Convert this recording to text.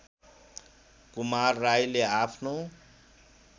कुमार राईले आफ्नो